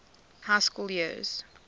high school years